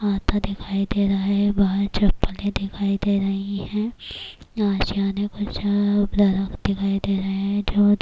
پتھر دکھائی دے رہا ہے - یہاں چپلے دکھائی دے رہے ہیں-اشیانی پر درخت دکھائی دے رہی ہے